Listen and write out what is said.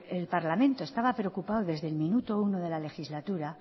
el parlamento estaba preocupado desde el minuto uno de la legislatura